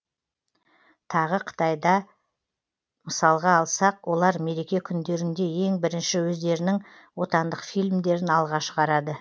тағы қытайда мысалға алсақ олар мереке күндерінде ең бірінші өздерінің отандық фильмдерін алға шығарады